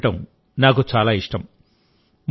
దీన్ని చూడటం నాకు చాలా ఇష్టం